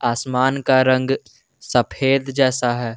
आसमान का रंग सफेद जैसा है।